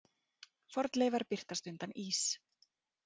Fornleifar birtast undan ís